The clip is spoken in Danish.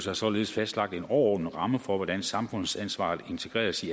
har således fastlagt en overordnet ramme for hvordan samfundsansvaret integreres i